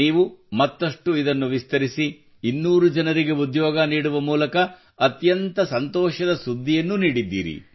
ನೀವು ಮತ್ತಷ್ಟು ಇದನ್ನು ವಿಸ್ತರಿಸಿ 200 ಜನರಿಗೆ ಉದ್ಯೋಗ ನೀಡುವ ಮೂಲಕ ಅತ್ಯಂತ ಸಂತೋಷದ ಸುದ್ದಿಯನ್ನು ನೀಡಿದ್ದೀರಿ